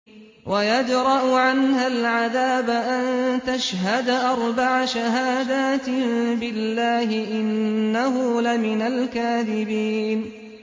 وَيَدْرَأُ عَنْهَا الْعَذَابَ أَن تَشْهَدَ أَرْبَعَ شَهَادَاتٍ بِاللَّهِ ۙ إِنَّهُ لَمِنَ الْكَاذِبِينَ